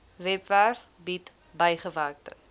webwerf bied bygewerkte